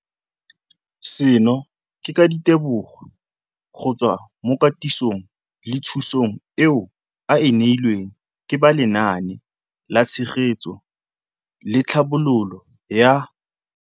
Seno ke ka ditebogo go tswa mo katisong le thu song eo a e neilweng ke ba Lenaane la Tshegetso le Tlhabololo ya